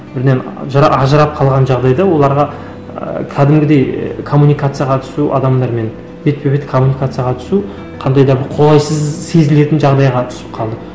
бірінен ажырап қалған жағдайда оларға ыыы кәдімгідей і коммуникацияға түсу адамдармен бетпе бет коммуникацияға түсу қандай да бір қолайсыз сезілетін жағдайға түсіп қалды